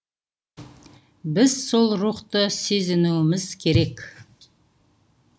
біз сол рухты сезінуіміз керек